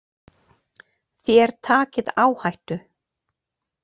Þér takið áhættu.